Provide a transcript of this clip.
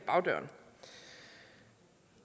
bagdøren